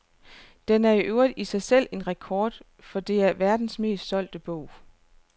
Den er i øvrigt i sig selv en rekord, for det er verdens mest solgte bog.